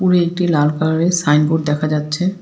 দূরে একটি লাল কালারের সাইনবোর্ড দেখা যাচ্ছে।